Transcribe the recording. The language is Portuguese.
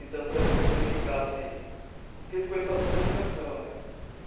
Então, por exemplo, se eu indicasse... porque eu escolhi fazer comunicação, né?